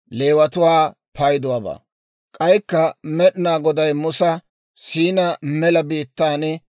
K'aykka Med'inaa Goday Musa Siinaa mela biittaan,